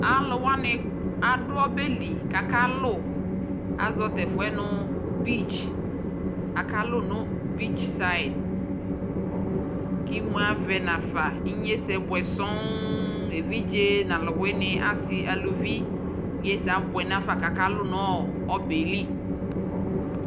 alʋ wani adʋ ɔbɛli kʋ aka lʋ, azɔ tɛƒʋɛ nʋ beach, aka lʋ nʋ beach side, imʋ avɛ nʋ aƒa kʋ inyɛsɛ bʋɛ sɔɔn, ɛvidzɛ nʋ alʋ wini, asii alʋvi inyɛsɛ abʋɛ nʋaƒa kʋ aka lʋnʋ ɔbɛli